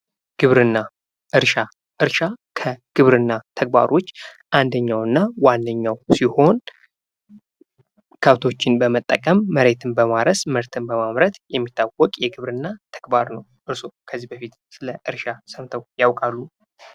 ግብርና ። እርሻ ፡ እርሻ ከግብርና ተግባሮች አንደኛው እና ዋነኛው ሲሆን ከብቶችን በመጠቀም መሬትን በማረስ ምርትን በማምረት የሚታወቅ የግብርና ተግባር ነው ። እርስዎ ከዚህ በፊት ስለ እርሻ ሰምተው ያውቃሉ ?